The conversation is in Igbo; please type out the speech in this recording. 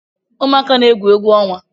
Ụmuaka na-egwu egwu ọnwa